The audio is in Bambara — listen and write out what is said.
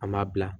An ma bila